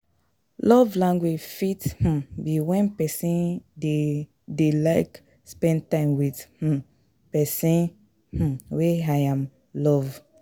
Love language fit um be when persin de de like spend time with um persin um wey Im love